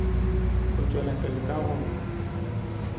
no tšwela pele ka go